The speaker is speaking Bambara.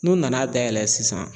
N'u nana dayɛlɛ sisan